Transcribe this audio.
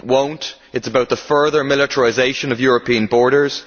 It will not it is about the further militarisation of European borders